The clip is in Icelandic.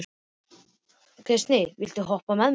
Gneisti, viltu hoppa með mér?